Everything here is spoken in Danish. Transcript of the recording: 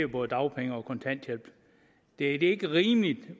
både dagpenge og kontanthjælp det er ikke rimeligt